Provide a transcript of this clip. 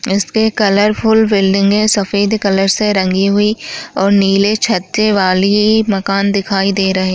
इसपे कलरफुल बिल्डिंगे सफेद कलर से रंगी हुई और नील छज्जे वाली मकान दिखाई दे रहे--